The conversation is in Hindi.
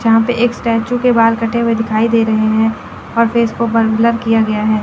जहाँ पे एक स्टैचू के बाल कटे हुए दिखाई दे रहे हैं और फेस को बल ब्लर किया गया है।